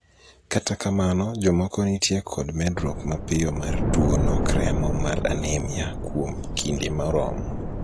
kata kamano, jomoko nitie kod medruok mapiyo mar tuo nok remo mar anemia kuom kinde moromo